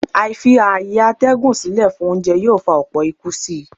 Àìfi-ààyè-atẹ́gùn sílè fún oúnjẹ yóò fa ọlpọ̀ ikú si.